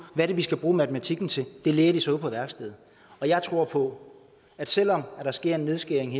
er de skal bruge matematikken til det lærer de så ude på værkstedet jeg tror på at selv om der sker en nedskæring